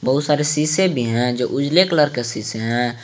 बहुत सारे शीशे भी हैं जो उजले कलर के शीशे हैं।